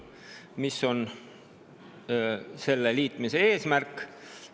Mis on selle liitmise eesmärk?